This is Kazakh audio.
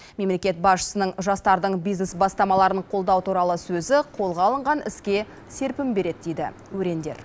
мемлекет басшысының жастардың бизнес бастамаларын қолдау туралы сөзі қолға алынған іске серпін береді дейді өрендер